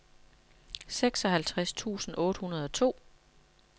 seksoghalvtreds tusind otte hundrede og to